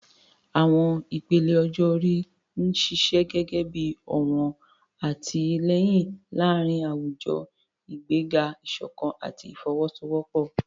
Àwọn ìpele ọjọ́ orí ń ṣiṣẹ́ gẹ́gẹ́ bí ọ̀wọ̀n àtìlẹ́yìn láàárín àwùjọ, ìgbéga ìṣọ̀kan àti ìfọwọ́sowọ́pọ̀.